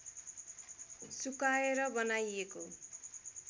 सुकाएर बनाइएको